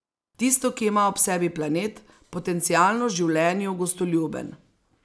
Tisto, ki ima ob sebi planet, potencialno življenju gostoljuben.